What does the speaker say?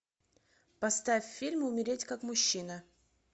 поставь фильм умереть как мужчина